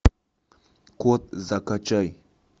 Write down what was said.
код закачай